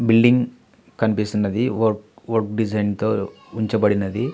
Building కనిపిస్తున్నది. వర్ వర్డ్ డిజైన్తో ఉంచబడినది.